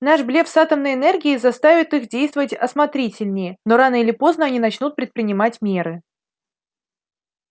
наш блеф с атомной энергией заставит их действовать осмотрительнее но рано или поздно они начнут предпринимать меры